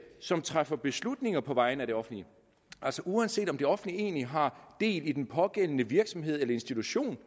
som træffer beslutninger på vegne af det offentlige altså uanset om det offentlige egentlig har del i den pågældende virksomhed eller institution